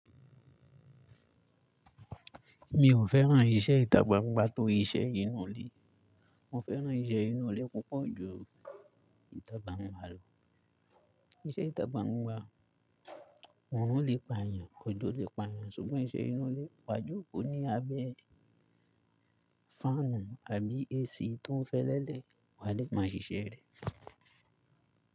Mi ò fẹ́ràn iṣẹ́ ìtàgbà gbangba tó iṣẹ́ inú ilé. Mo fẹ́ràn iṣẹ́ inú ilé púpọ̀ ju ìtàgbàpámẹ́ lọ. Iṣẹ́ ìtà gbangba, wọ́n lè pa èèyàn, ọjọ́ lè pa èèyàn ṣùgbọ́n iṣẹ́ inú ilé, wà jókòó ní abẹ́ fáànù àbí AC tó ń fẹ́lẹ́lẹ́, wà á lè máa ṣiṣẹ́ rẹ̀.